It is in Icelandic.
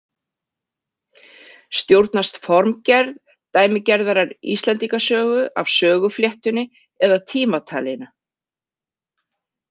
Stjórnast formgerð dæmigerðrar Íslendingasögu af sögufléttunni eða tímatalinu?